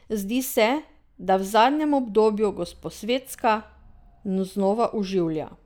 Zdi se, da v zadnjem obdobju Gosposvetska znova oživlja.